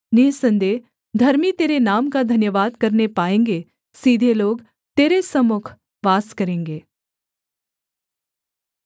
निःसन्देह धर्मी तेरे नाम का धन्यवाद करने पाएँगे सीधे लोग तेरे सम्मुख वास करेंगे